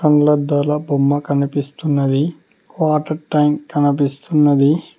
కండ్లద్దాల బొమ్మ కనిపిస్తున్నది water tank కనిపిస్తున్నది.